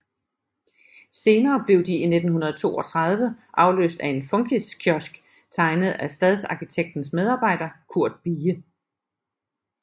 Senere blev de i 1932 afløst af en funkiskiosk tegnet af stadsarkitektens medarbejder Curt Bie